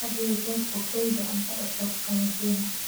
Had iyo jeer ku kaydi cunto cusub qaboojiyaha.